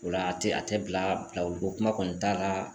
O la a tɛ a tɛ bila bilawuli ko kuma kɔni t'a la